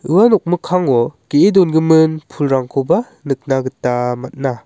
ua nokmikkango ge·e dongimin pulrangkoba nikna gita man·a.